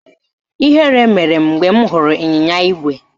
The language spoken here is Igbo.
Ihere mere m mgbe m hụrụ ịnyịnya ígwè